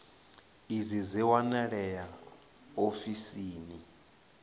idzi dzi a wanalea ofisini